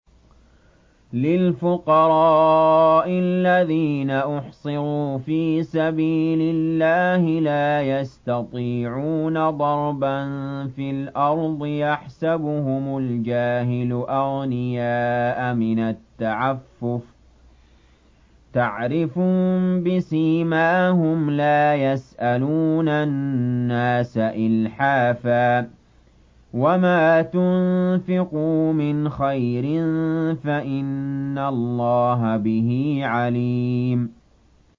لِلْفُقَرَاءِ الَّذِينَ أُحْصِرُوا فِي سَبِيلِ اللَّهِ لَا يَسْتَطِيعُونَ ضَرْبًا فِي الْأَرْضِ يَحْسَبُهُمُ الْجَاهِلُ أَغْنِيَاءَ مِنَ التَّعَفُّفِ تَعْرِفُهُم بِسِيمَاهُمْ لَا يَسْأَلُونَ النَّاسَ إِلْحَافًا ۗ وَمَا تُنفِقُوا مِنْ خَيْرٍ فَإِنَّ اللَّهَ بِهِ عَلِيمٌ